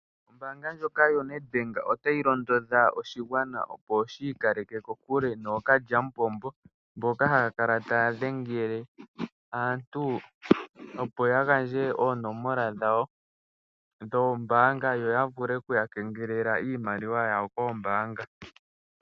Ombaanga ndjoka yoNedbank otayi londodha oshigwana opo shiikaleke kokule nookalyamupombo mboka hayakala taya dhengele aantu opo yagandje oonomola dhawo dhoombanga yoyavule okuyakengelela iimaliwa yawo koombanga.